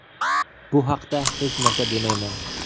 Bu haqda hech narsa demayman.